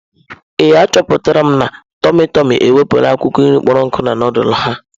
Ee, achọpụtara m na tụmị tụmị ewepụla akwụkwọ nri kpọrọ nku na nudulu ha.